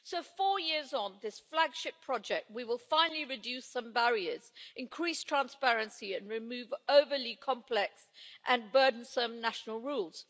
So four years on, this flagship project will finally reduce some barriers, increase transparency and remove overly complex and burdensome national rules.